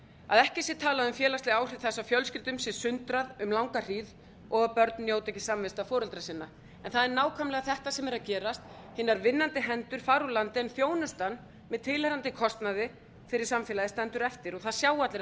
að ekki sé talað um félagsleg áhrif þess að fjölskyldum sé sundrað um langa hríð og að börn njóti ekki samvista foreldra sinna það er nákvæmlega þetta sem er að gerast hina vinnandi hendur fara úr landi en þjónustan með tilheyrandi kostnaði fyrir samfélagið stendur eftir og það sjá allir að